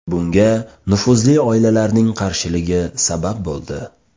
Bunga nufuzli oilalarning qarshiligi sabab bo‘ldi.